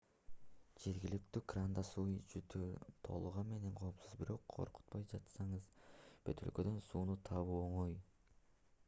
жергиликтүү крандан суу ичүү толугу менен коопсуз бирок коркуп жатсаңыз бөтөлкөдөгү сууну табуу оңой